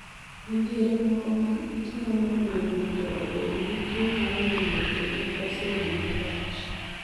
Midhiero moko mag it nyalo miyo ng�ato obed gi tuwo mar winjo kendo koso winjo wach.